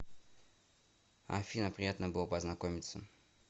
афина приятно было познакомиться